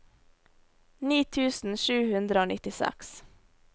ni tusen sju hundre og nittiseks